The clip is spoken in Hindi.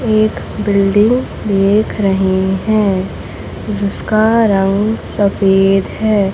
एक बिल्डिंग देखे रहे हैं जिसका रंग सफेद है।